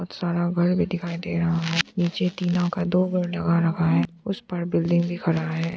सारा घर भी दिखाई दे रहा है पीछे तीनों का दो बार लगा रखा है उसे पर बिल्डिंग भी खड़ा है।